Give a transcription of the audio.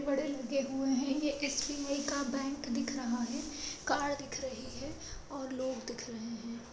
--काच बहोत बड़े बड़े लगे हुए है ये एस_बी_आई का बैंक दिख रहा है कार दिख रही है और लोग दिख रहे है।